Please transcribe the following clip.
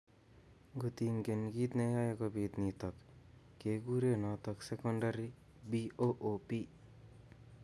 Ngotkingen kiit neyoe kobit nitok kekuree notok secondary BOOP